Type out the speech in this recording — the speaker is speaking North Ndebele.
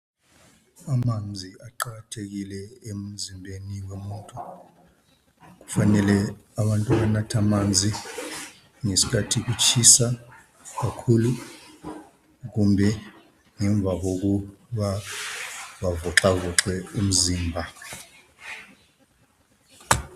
Amanzi aqakathekile emzimbeni womuntu ,kufanele abantu banathe amanzi ngesikhathi kutshisa kakhulu kumbe ngemva kokuba bavoxavoxe imizimba .